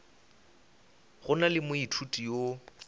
go na le moithuti yo